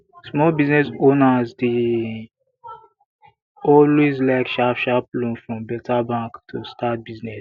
small business owner dey always like sharpsharp loan from beta bank to start business